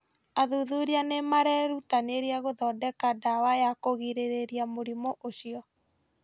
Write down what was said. Athuthuria nĩ marerutanĩria gũthondeka ndawa ya kũgirĩrĩria mũrimũ ũcio.